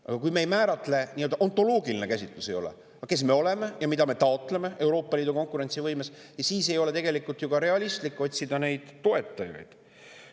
Aga kui me ei määratle, meil ei ole nii-öelda ontoloogilist käsitlust, kes me oleme ja mida me taotleme Euroopa Liidu konkurentsivõime puhul, siis ei ole tegelikult ju ka realistlik otsida toetajaid.